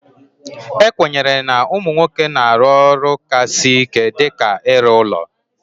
E kwenyere na ụmụ nwoke na-arụ ọrụ ka sị ike dịka ịrụ ụlọ